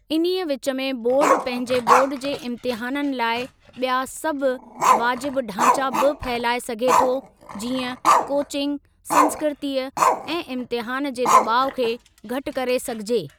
इन्हीअ विच में बोर्ड पंहिंजे बोर्ड जे इम्तहाननि लाइ ॿिया सभु वाजिब ढांचा बि फहिलाए सघे थो जीअं कोचिंग संस्कृती ऐं इम्तिहानु जे दबाउ खे घटि करे सघिजे।